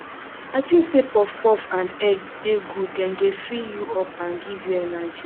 i think say puffpuff and egg dey good dem dey fill you up and give you energy